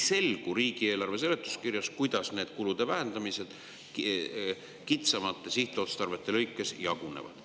Riigieelarve seletuskirjast ei selgu, kuidas need kulude vähendamised kitsamate sihtotstarvete vahel jagunevad.